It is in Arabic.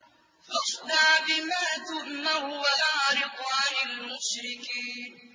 فَاصْدَعْ بِمَا تُؤْمَرُ وَأَعْرِضْ عَنِ الْمُشْرِكِينَ